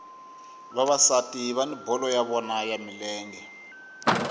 vavasati vani bolo ya vona ya milenge